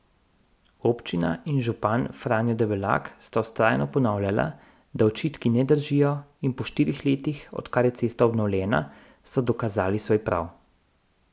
Občina in župan Franjo Debelak sta vztrajno ponavljala, da očitki ne držijo, in po štirih letih, odkar je cesta obnovljena, so dokazali svoj prav.